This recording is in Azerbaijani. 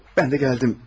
Mən də gəldim.